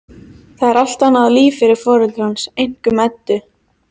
Það er allt annað líf fyrir foreldra hans, einkum Eddu.